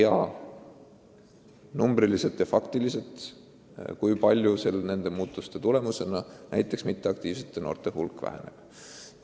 Aga muidugi me ei tea, kui palju konkreetselt nende muudatuste tulemusena passiivsete noorte hulk väheneb.